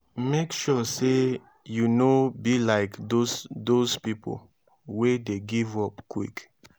mek sure say yu no be like dose dose pipo wey dey give up quick